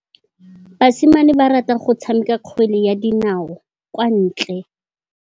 Basimane ba rata go tshameka kgwele ya dinaô kwa ntle.